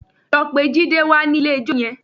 Lọ pe Jide wá nílé ijó yẹn!